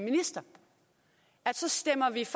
synes